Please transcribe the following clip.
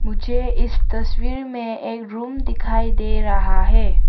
मुझे इस तस्वीर में एक रूम दिखाई दे रहा है।